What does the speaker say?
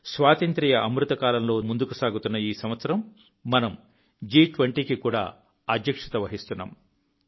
స్వాతంత్ర్య స్వర్ణయుగంలో ముందుకు సాగుతున్న ఈ సంవత్సరం మనం జి20కి కూడా అధ్యక్షత వహిస్తున్నాం